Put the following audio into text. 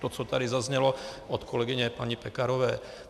To, co tady zaznělo od kolegyně paní Pekarové.